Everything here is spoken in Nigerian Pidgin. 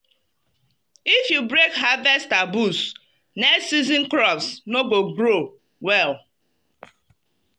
if you break harvest taboos next season crops no go grow well.